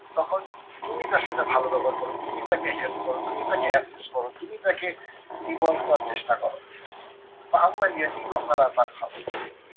তখন তুমি তার সাথে ভালো ব্যবহার করো। তুমি তাকে help করো। তুমি তাকে assist করো। তুমি তাকে evolve করার চেষ্টা করো।